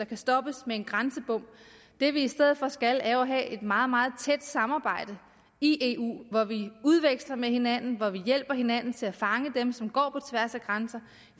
kan stoppes med en grænsebom det vi i stedet for skal er jo at have et meget meget tæt samarbejde i eu hvor vi udveksler med hinanden og hvor vi hjælper hinanden til at fange dem som går på tværs af grænser